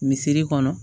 Misiri kɔnɔ